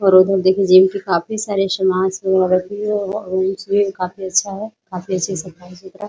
और उधर देखिए जिम के काफी सारे सामान सब वहाँ रखे हुए हैं और जिम भी काफी अच्छा है काफी अच्छी सफाई-सुथरा ।